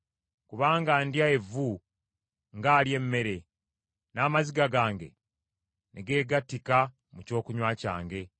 Kubanga ndya evvu ng’alya emmere, n’amaziga gange ne geegattika mu kyokunywa kyange.